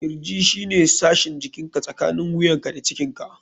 Kirji shine sashin jikinka tsakanin wuyanka da cikinka (ciki).